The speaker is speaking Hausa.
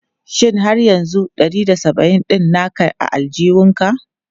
Shin har yanzu ɗari da saba'in ɗin naka a aljihunka?